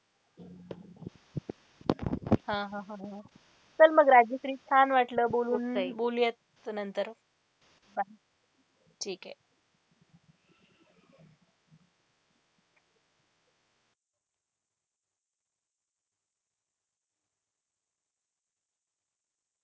हा हा हा, चल मग राजश्री छान वाटलं बोलून बोलूयात नंतर bye. ठीक आहे.